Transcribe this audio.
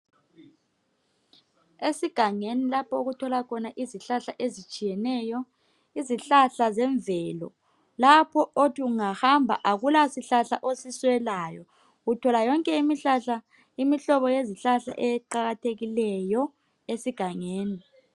Esiganeeni lapho okutholwa khona izihlahla ezitshiyeneyo. Izihlahla zemvelo lapho othi ungahamba akula sihlahla osiswelayo. Uthola yonke imihlahla imihlobo yonke yezihlahla qakathekileyo esigangeni.